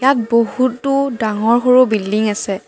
বহুতো ডাঙৰ সৰু বিল্ডিং আছে।